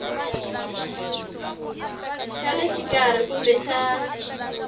xa le xikarhi kumbe xa